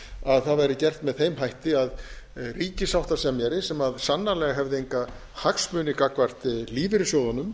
að það væri gert með þeim hætti að ríkissáttasemjara sem sannarlega hefði enga hagsmuni gagnvart lífeyrissjóðunum